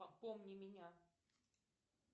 помни меня